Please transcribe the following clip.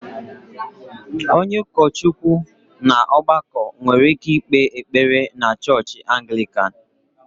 Onye ụkọchukwu na ọgbakọ nwere ike ikpe ekpere na chọọchị Anglican